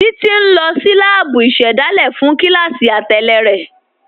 Títi n lọ sí láàbú ìṣẹ́dálẹ̀ fún kílásí àtẹlẹ̀ rẹ.